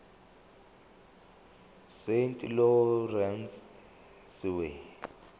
saint lawrence seaway